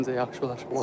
Məncə yaxşı olar.